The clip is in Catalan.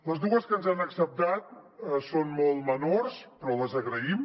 les dues que ens han acceptat són molt menors però les agraïm